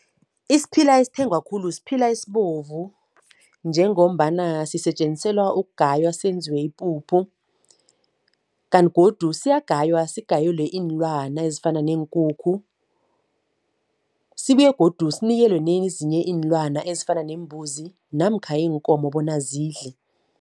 Isiphila esithengwa khulu siphila esibovu njengombana sisetjenziselwa ukugaya senziwe ipuphu kanti godu siyagaywa sigayelwe iinlwana ezifana neenkukhu, sibuye godu sinikelwe nezinye iinlwana ezifana neembuzi namkha iinkomo bona zidle.